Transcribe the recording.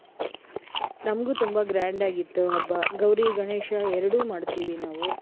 ನಂಗೂ ತುಂಬಾ grand ಆಗಿತ್ತು ಹಬ್ಬ. ಗೌರಿ ಗಣೇಶ ಎರಡೂ ಮಾಡ್ತೀವಿ ನಾವು.